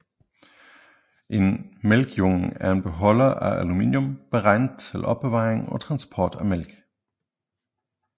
En mælkejunge er en beholder af aluminium beregnet til opbevaring og transport af mælk